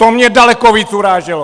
To mě daleko víc uráželo!